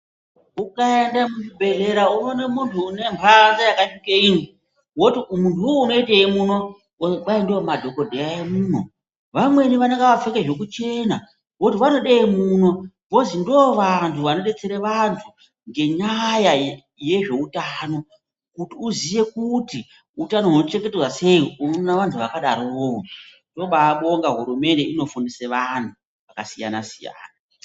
Ukaenda kuchibhedhlera unoona munhu un mhanza yakasvike iyo woti munhu unou unotsvakei muno. Kwai ndiwo madhokodheya eduwo. Vamweni vanenge vakapfeke zvekuchena. Oti vanodeyi muno voti ndiwo antu anodetsere anhu ngenyaya yezveutano kuti uziye utano hunochengetedzwa sei unoona vanhu vakadaro. Tinobaabonga hurumende inofundisa antu Takasiyana siyana.